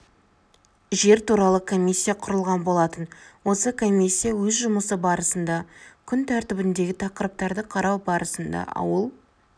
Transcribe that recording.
жер туралы комиссия құрылған болатын осы комиссия өз жұмысы барысында күнтәртібіндегі тақырыптарды қарау барысында ауыл